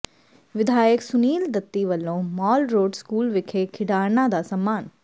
ਵਿਧਾਇਕ ਸੁਨੀਲ ਦੱਤੀ ਵਲੋਂ Mall Road school ਵਿਖੇ ਖਿਡਾਰਨਾਂ ਦਾ ਸਨਮਾਨ